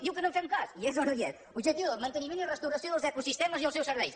diu que no en fem cas hi és o no hi és objectiu dos manteniment i restauració dels ecosistemes i els seus serveis